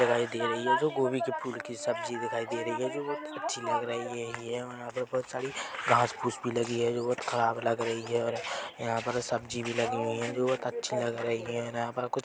दिखाई दे रही है जो गोभी के फूल कि सब्जी दिखाई दे रही है जो बहुत अच्छी लग रही है ये वहाँ पर बहोत सारी घास फूँस भी लगी है जो बहोत खराब लग रही है और यहाँ पर सब्जी भी लगी हुई है जो बहोत अच्छी लग रही है यहाँ पर--